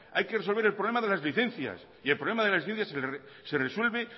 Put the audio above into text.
hay que resolver el problema de las licencias el problema de las licencias se resuelve